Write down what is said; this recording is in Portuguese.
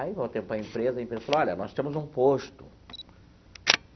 Aí voltei para a empresa e a empresa falou, olha, nós temos um posto.